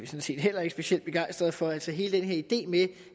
set heller ikke specielt begejstrede for altså hele den her idé med